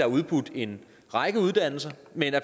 udbudt en række uddannelser men